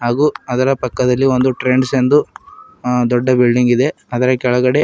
ಹಾಗೂ ಅದರ ಪಕ್ಕದಲಿ ಒಂದು ಟ್ರೆಂಡ್ಸ್ ಎಂದು ದೊಡ್ಡ ಬಿಲ್ಡಿಂಗ್ ಇದೆ ಅದರ ಕೆಳಗಡೆ.